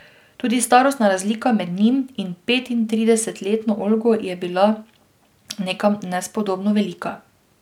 Tudi starostna razlika med njim in petintridesetletno Olgo je bila nekam nespodobno velika.